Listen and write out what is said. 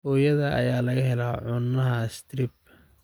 Hooyada ayaa laga helay cunaha strep